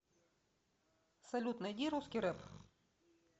салют найди русский рэп